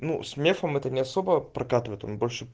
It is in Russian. ну с мефом это не особо прокатывает он больше